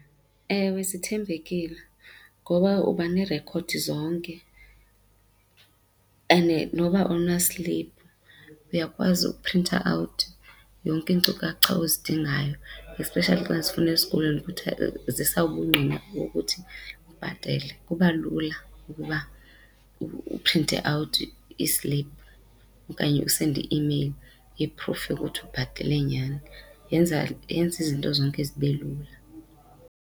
Ewe, sithembekileyo, ngoba uba neerekhodi zonke and noba awunasliphu uyakwazi uprinta awuthi yonke iinkcukacha ozidingayo especially xa zifunwa esikolweni kuthwa zisa ubungqina bokuthi bhetele. Kuba lula ukuba uprinta awuthi isliphu okanye usende i-imeyili ye-proof yokuthi ubhatele nyhani. Yenza, yenza izinto zonke zibe lula.